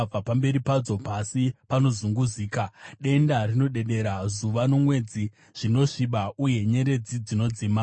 Pamberi padzo, pasi panozunguzika, denga rinodedera, zuva nomwedzi zvinosviba uye nyeredzi dzinodzima.